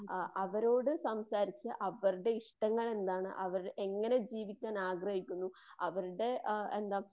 ആ അവരോട്‌സംസാരിച്ചു.അവരുടെ ഇഷ്ടങ്ങൾ എന്താണ്. ആരെങ്ങനെ ജീവിക്കാൻ ആഗ്രഹിക്കുന്നു. അവരുടെ ആ എന്താ